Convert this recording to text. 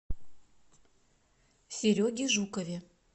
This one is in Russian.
сереге жукове